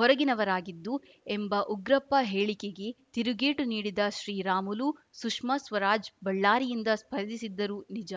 ಹೊರಗಿನವರಾಗಿದ್ದು ಎಂಬ ಉಗ್ರಪ್ಪ ಹೇಳಿಕೆಗೆ ತಿರುಗೇಟು ನೀಡಿದ ಶ್ರೀರಾಮುಲು ಸುಷ್ಮಾ ಸ್ವರಾಜ್‌ ಬಳ್ಳಾರಿಯಿಂದ ಸ್ಪರ್ಧಿಸಿದ್ದರು ನಿಜ